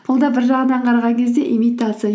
бұл да бір жағынан қараған кезде имитация